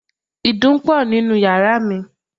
Ìdun pọ̀ nínú yàrá mi.